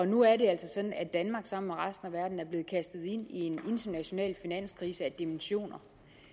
nu er det altså sådan at danmark sammen med resten af verden er blevet kastet ind i en international finanskrise af dimensioner